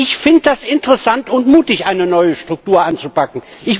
Ich finde es interessant und mutig, eine neue Struktur anzupacken.